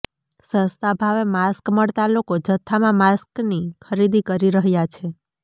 સસ્તા ભાવે માસ્ક મળતા લોકો જથ્થામાં માસ્કની ખરીદી કરી રહ્યાં છે